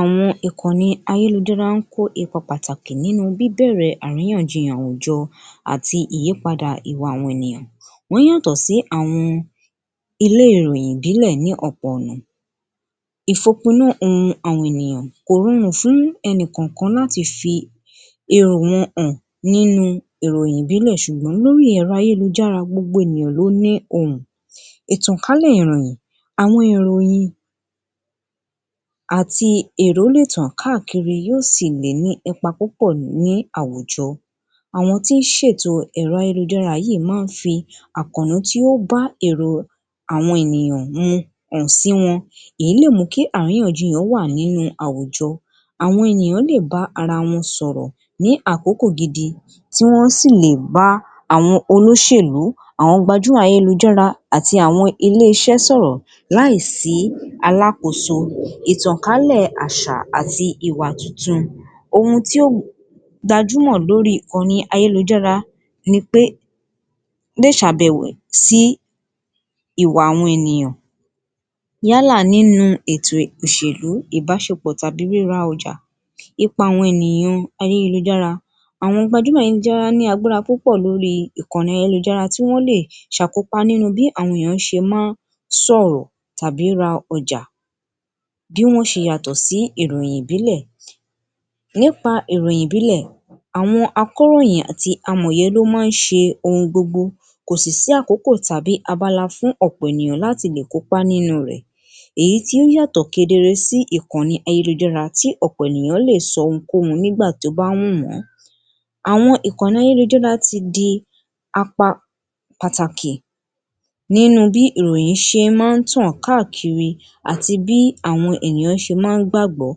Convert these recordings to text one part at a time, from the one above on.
Àwọn ìkànnì ayélujará ń kó ipa pàtàkì nínú bíbẹ̀rẹ̀ àríyànjiyàn àwùjọ àti ìyípadà ìwà àwọn ènìyàn wọ́n yàtọ̀ sí àwọn ilé ìròyìn ìbílẹ̀ ní ọ̀pọ̀ ọ̀nà kò rọrùn fún ẹnìkọọkan láti fi èrò wọn hàn nínú ìròyìn ìbílẹ̀ ṣùgbọ́n nínú ẹ̀rọ ayélujára gbogbo ènìyàn ló ní ohùn. Ìtànkálẹ̀ ìròyìn, àwọn ìròyìn àti èrò lè tàn káàkiri yóò sì lè ní ipa púpọ̀ ní àwùjọ. Àwọn tó ń ṣètò ayélujára yìí máa ń fi àkònú tí ó bá èrò àwọn ènìyàn mu hàn sí wọn. Èyí lè mú kí àriyànjiyàn wà nínú àwùjọ, àwọn ènìyàn lè bá ara wọn sọ̀rọ̀ ní àkókò gidi tí wọ́n sì lè bá àwọn olóṣèlú, àwọn gbajúmọ̀ ayélujára àti àwọn iléeṣẹ́ sọ̀rọ̀ láì sí alákoso, ìtànkálè àṣà àti ìwà tuntun, ohun tí ó gbajúmọ̀ lórí ìkànnì ayélujára ni pé lè ṣàbẹ̀wò sí ìwà àwọn ènìyàn yàlá nínú ètò òṣèlú, ìbáṣepọ̀ tàbí ríra ọjà. Ipa àwọn ènìyàn ayélujára. Àwọn gbajúmọ̀ ayélujára ní agbára púpọ̀ lórí ìkànnì ayélujára tí wọ́n lè ṣàkópa nínúh bí àwọn ènìyàn ṣe máa ń sọ̀rọ̀ tàbí ra ọjà, bí wọ́n ṣe yàtọ̀ sí ìròyìn ìbílẹ̀. Nípa ìròyìn ìbílẹ̀ àwọn akóròyìn àti amọ̀ye ló máa ń ṣe ohun gbogbo kò sì sí àkókò tàbí abala fún ọ̀pọ̀ ènìyàn láti lè kópá nínú rẹ̀. Èyí tiín yàtọ̀ kedere sí ìkànnì ayélujára tí ọ̀pọ̀ ènìyàn lè sọ ohunkóhun ní ìgbà tó bá wù wọ́n. Àwọn ìkànnì ayélujára ti di apa pàtàkì nínú bí ìròyìn ṣe máa ń tàn káàkiri àti bí àwọn ènìyàn ṣe máa ń gbàgbọ́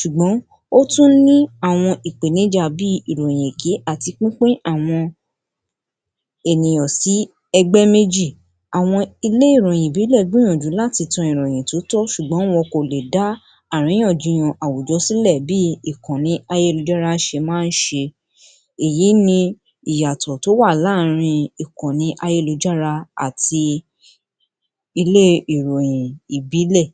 ṣùgbọ́n ó tún ní àwọn ìpèníjà bí i ìròyìn èké àti pínpín àwọn ènìyàn sí ẹgbé méjì. Àwọn ilé ìròyìn ìbílẹ̀ gbìyànjú láti tan ìròyìn tó tọ́ ṣùgbọ́n wọn kò lè dá àríyànjiyàn àwùjọ sílẹ̀ bí i ìkànnì ayélujára ṣe máa ń ṣe. Èyí ni ìyàtọ̀ tó wà láàrin ìkannì ayélujára àti ilé ìròyìn ìbílẹ̀.